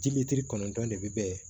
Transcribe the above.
Dibitiri kɔnɔntɔn de bɛ yen